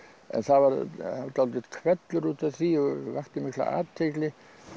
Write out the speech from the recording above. það var dálítill hvellur út af því og vakti mikla athygli